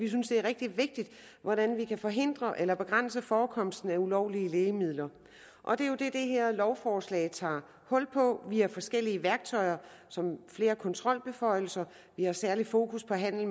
de synes det er rigtig vigtigt hvordan vi kan forhindre eller begrænse forekomsten af ulovlige lægemidler og det er jo det det her lovforslag tager hul på via forskellige værktøjer som flere kontrolbeføjelser særlig fokus på handel